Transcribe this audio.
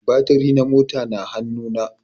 Batiri na mota na hanu na